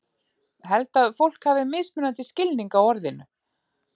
Held að fólk hafi mismunandi skilning á orðinu.